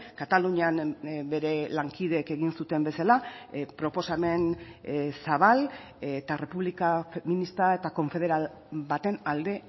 katalunian bere lankideek egin zuten bezala proposamen zabal eta errepublika feminista eta konfederal baten alde